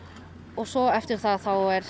svo eftir það er